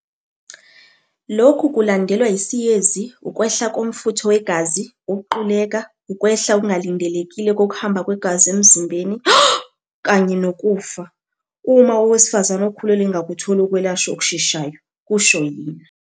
"Lokhu kulandelwa yisiyezi, ukwehla komfutho wegazi, ukuquleka, ukwehla okungalindelekile kokuhamba kwegazi emzimbeni, shock, kanye nokufa, uma owesifazane okhulelwe engakutholi ukwelashwa okusheshayo," kusho yena.